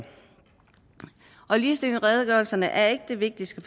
ligestillingsredegørelserne er ikke det vigtigste